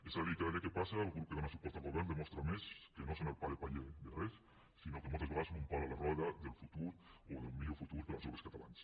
és a dir cada dia que passa el grup que dóna suport al govern demostra més que no són el pal de paller de res sinó que moltes vegades són un pal a la roda del futur o d’un millor futur per als joves catalans